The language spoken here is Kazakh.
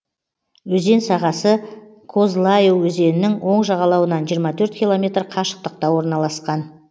өзен сағасы козлаю өзенінің оң жағалауынан жиырма төрт километр қашықтықта орналасқан